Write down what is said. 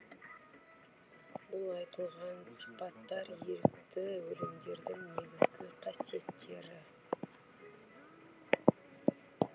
бұл айтылған сипаттар ерікті өлеңдердің негізгі қасиеттері